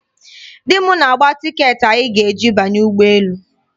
Di m na-agba tiiketị anyị ga-eji banye ụgbọ elu.